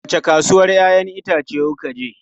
Wace kasuwan 'ya'yan itace kuka je?